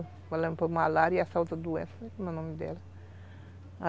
Malária e essa outra doença, não lembro o nome dela.